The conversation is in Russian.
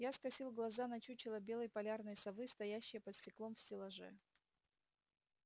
я скосил глаза на чучело белой полярной совы стоящее под стеклом в стеллаже